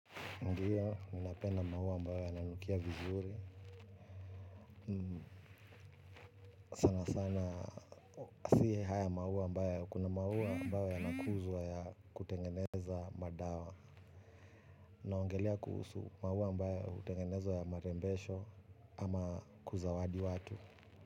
Ndiyo, ninapenda maua ambayo yananukia vizuri. Sana sana, si haya maua mbaya, kuna maua ambayo yanakuzwa ya kutengeneza madawa. Naongelea kuhusu maua ambayo hutengeneza ya marembesho ama kuzawadi watu.